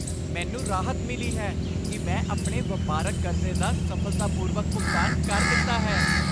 ਮੈਨੂੰ ਰਾਹਤ ਮਿਲੀ ਹੈ ਕਿ ਮੈਂ ਆਪਣੀ ਵਪਾਰਕ ਕਰਜ਼ੇ ਦਾ ਸਫ਼ਲਤਾਪੂਰਵਕ ਭੁਗਤਾਨ ਕਰ ਦਿੱਤਾ ਹੈ।